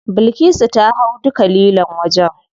Bilkisu ta hau duka lilon wajen.